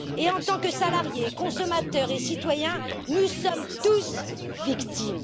En tant que salariés, consommateurs et citoyens, nous sommes tous victimes.